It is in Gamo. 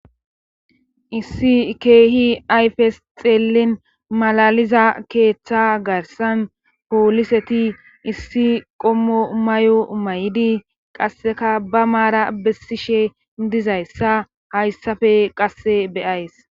Issi keehi ayfes xeellin malaliza keeththa garsan pooliseti issi qommo may7o maydi qasseka ba maara bessishe dizayssa hayssafe qasse be7ays.